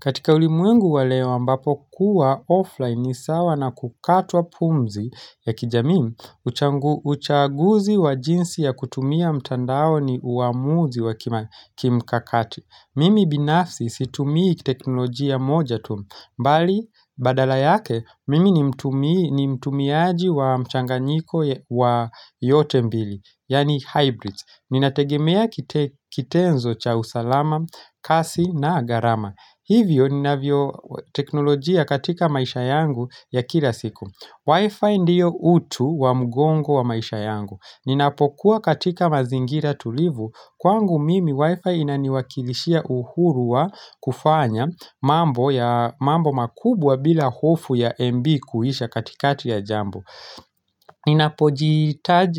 Katika ulimwengu wa leo ambapo kuwa offline ni sawa na kukatwa pumzi ya kijamii uchaguzi wa jinsi ya kutumia mtandao ni uamuzi wa kimkakati. Mimi binafsi situmii teknolojia moja tu mbali badala yake mimi ni mtumiaji wa mchanganyiko wa yote mbili, yani hybrids. Ninategemea kitenzo cha usalama, kasi na gharama. Hivyo ninavyo teknolojia katika maisha yangu ya kila siku Wi-Fi ndiyo utu wa mugongo wa maisha yangu Ninapokuwa katika mazingira tulivu Kwangu mimi Wi-Fi inaniwakilishia uhurua kufanya mambo makubwa bila hofu ya MB kuhisha katikati ya jambo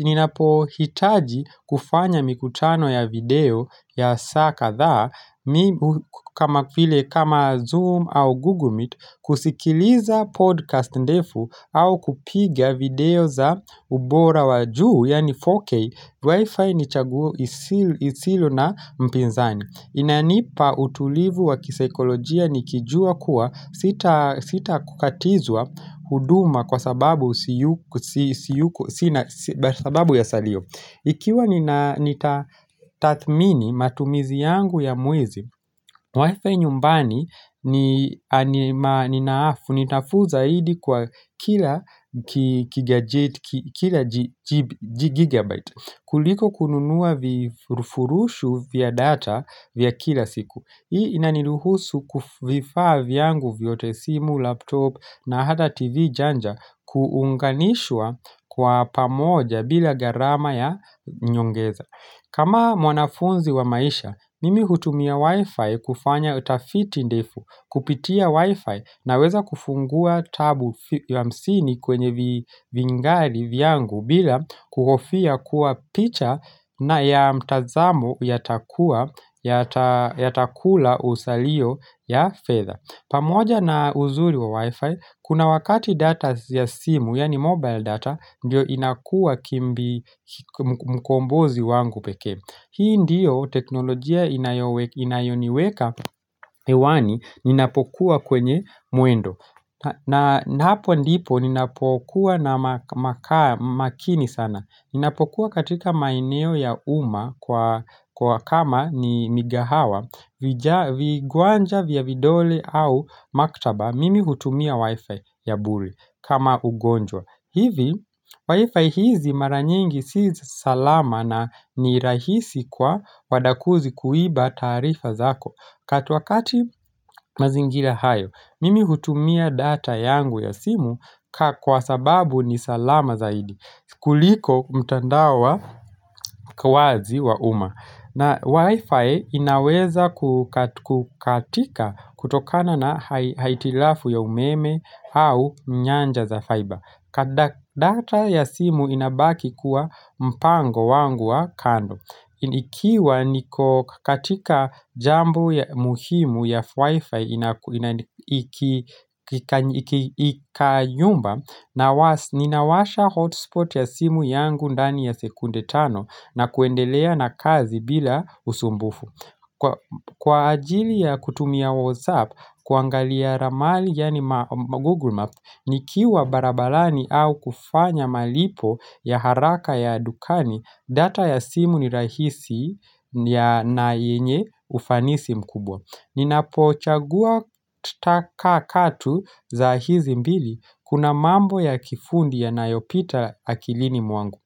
Ninapohitaji kufanya mikutano ya video ya saa kadhaa kama vile kama Zoom au Google Meet kusikiliza podcast ndefu au kupiga video za ubora wa juu yani 4K, Wi-Fi nichaguo isilo na mpinzani inanipa utulivu wa kisekolojia nikijua kuwa sita kukatizua huduma kwa sababu ya salio Ikiwa nita tathmini matumizi yangu ya muizi, wifi nyumbani ninaafu nitafu zaidi kwa kila gigabyte kuliko kununua vifurushu vya data vya kila siku. Hii inaniruhusu kuvifaa vyangu vyote simu, laptop na hata tv janja kuunganishwa kwa pamoja bila gharama ya nyongeza. Kama mwanafunzi wa maisha, mimi hutumia wifi kufanya utafiti ndefu kupitia wifi na weza kufungua tabu hamsini kwenye vingari vyangu bila kukofia kuwa picha na ya mtazamo ya takula usalio ya fedha. Pamoja na uzuri wa wi-fi, kuna wakati data ya simu, yani mobile data, ndiyo inakua kimbi mkombozi wangu peke. Hii ndiyo teknolojia inayoniweka ewani ninapokuwa kwenye muendo. Na hapo ndipo ninapokuwa na makini sana. Ninapokuwa katika maeneo ya umma kwa kama ni migahawa vigwanja vya vidole au maktaba mimi hutumia wifi ya buri kama ugonjwa. Hivi, Wi-Fi hizi mara nyingi sisa salama na ni rahisi kwa wadakuzi kuiba tarifa zako. Katu wakati mazingira hayo, mimi hutumia data yangu ya simu kwa sababu ni salama zaidi. Kuliko mtandao wazi wa umma. Na Wi-Fi inaweza kukatika kutokana na haitilafu ya umeme au nyanja za faiba. Data ya simu inabaki kuwa mpango wangu wa kando Ikiwa niko katika jambo muhimu ya wifi ikayumba Ninawasha hotspot ya simu yangu ndani ya sekunde tano na kuendelea na kazi bila usumbufu Kwa ajili ya kutumia whatsapp kuangalia ramali yaani google map Nikiwa barabarani au kufanya malipo ya haraka ya dukani, data ya simu ni rahisi ya naenye ufanisi mkubwa Ninapochagua taka katu za hizi mbili kuna mambo ya kifundi ya nayopita akilini mwangu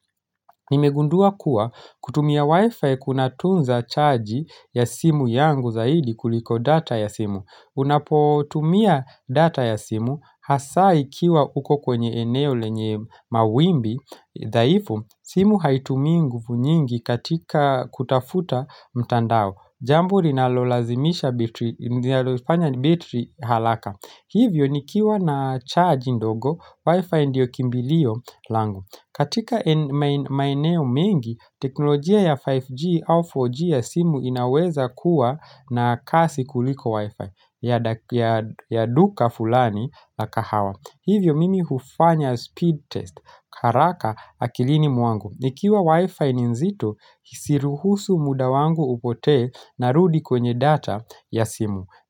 Nimegundua kuwa kutumia wifi kuna tunza chaji ya simu yangu zaidi kuliko data ya simu Unapotumia data ya simu, hasa ikiwa uko kwenye eneo lenye mawimbi, dhaifu simu haitumingu nyingi katika kutafuta mtandao Jambo nalolazimisha bitri halaka Hivyo nikiwa na charge ndogo, wifi ndio kimbiliyo langu katika maeneo mengi, teknolojia ya 5G au 4G ya simu inaweza kuwa na kasi kuliko wifi ya duka fulani la kahawa Hivyo mimi hufanya speed test haraka akilini mwangu Nikiwa wifi ni zito Isiruhusu muda wangu upotee narudi kwenye data ya simu.